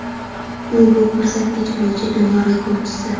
u bu ko‘rsatkich bo‘yicha dunyo rekordchisi.